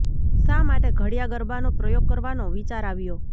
શા માટે ઘડિયા ગરબાનો પ્રયોગ કરવાનો વિચાર આવ્યો